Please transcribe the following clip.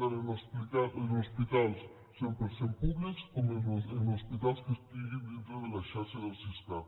tant en hospitals cent per cent públics com en hospitals que estiguin dintre de la xarxa del siscat